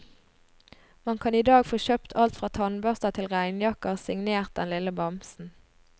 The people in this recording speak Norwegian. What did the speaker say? Man kan i dag få kjøpt alt fra tannbørster til regnjakker signert den lille bamsen.